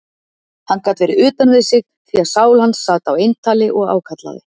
Hann gat verið utan við sig, því að sál hans sat á eintali og ákallaði